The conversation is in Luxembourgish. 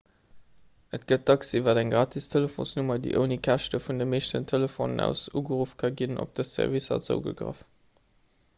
et gëtt dacks iwwer eng gratis telefonsnummer déi ouni käschte vun de meeschten telefonen aus ugeruff ka ginn op dës servicer zougegraff